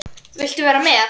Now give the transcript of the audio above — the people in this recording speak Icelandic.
Viltu vera með?